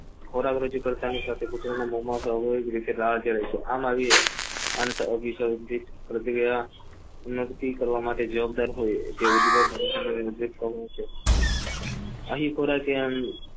ખોરાક રજૂ કરતા સાથે કુતરા ની મોજ માં લાડ ધરાય છે આમ આવીશયોક્તિ પ્રતિક્રિયા જવાબદાર હોય અહીં અહી